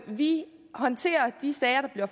vi håndterer de sager